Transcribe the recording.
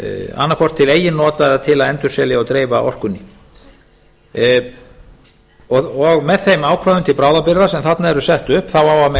annað hvort til eigin nota eða til að endurselja og dreifa orkunni með þeim ákvæðum til bráðabirgða sem þarna eru sett upp á að mega